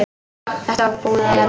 Þetta er búið að vera.